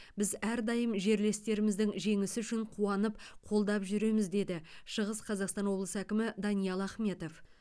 біз әрдайым жерлестеріміздің жеңісі үшін қуанып қолдап жүреміз деді шығыс қазақстан облысы әкімі даниал ахметов